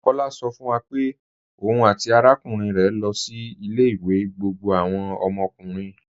Kọ̀lá sọ̀ fún wa pé ọ̀un àti arákùnrin rẹ lọ sí ilẹ̀-ìwé gbogbo àwọn ọmọkùnrin.